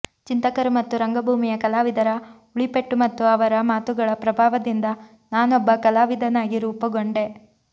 ಚಿಂತಕರು ಮತ್ತು ರಂಗಭೂಮಿಯ ಕಲಾವಿದರ ಉಳಿಪೆಟ್ಟು ಮತ್ತು ಅವರ ಮಾತುಗಳ ಪ್ರಭಾವದಿಂದ ನಾನೊಬ್ಬ ಕಲಾವಿದನಾಗಿ ರೂಪುಗೊಂಡೆ